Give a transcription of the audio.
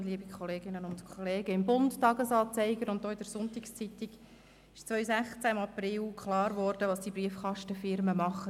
Im «Bund», im «Tages-Anzeiger» und auch in der «SonntagsZeitung» war im April 2016 klar geworden, was diese Briefkastenfirmen tun.